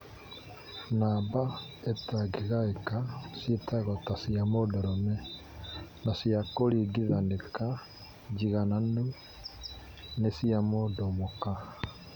Namba itangĩgaĩka cioetwo ta cia mũndũrũme na cia kũringithanĩka njigananu nĩ cia mũndũ mũka